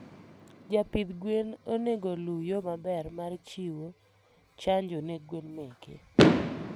jpidh gwen onego oluu yoo maber mar chiwo hnjo ne gwen meke